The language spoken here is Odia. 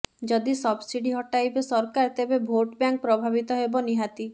ଯଦି ସବସିଡି ହଟାଇବେ ସରକାର ତେବେ ଭୋଟ ବ୍ୟାଙ୍କ ପ୍ରଭାବିତ ହେବ ନିହାତି